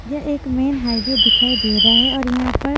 ये एक main highway दिखाई दे रहा है और यहां पर--